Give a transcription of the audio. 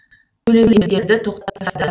төлемдерді тоқтатып тастады